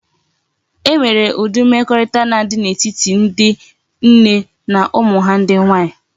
E nwere udi mmekorita na adi na etiti ndi nne na umu ha ndi nwanyi